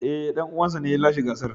Ee, dan uwansa ne ya lashe gasar.